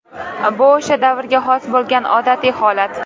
Bu o‘sha davrga xos bo‘lgan odatiy holat.